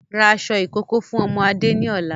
rà aṣọ ìkókó fún ọmọ Adé ni ọ̀la!